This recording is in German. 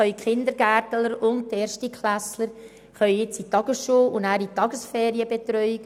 Die Kindergärtler und die Erstklässler können in die Tagesschule und in die Tagesferienbetreuung.